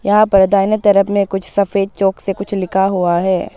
यहां पर दाहिने तरफ में कुछ सफेद चॉक से कुछ लिखा हुआ है।